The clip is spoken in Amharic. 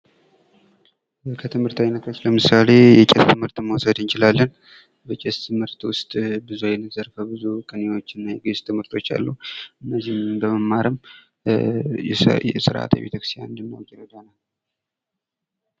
ከትምህርት አይነቶች ለምሳሌ የቄስ ትምህርትን መውሰድ እንችላለን በቄስ ትምህርት ውስጥ ብዙ አይነት ዘርፈ ብዙ ቅኔወችና የግእዝ ትምህርቶች አሉ። እነዚህን በመማርም ስርአተ ቤተክርስቲያንን እንዲናውቅ ይረዳናል።